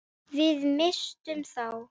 Við misstum þá.